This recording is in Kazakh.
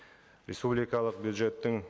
республикалық бюджеттің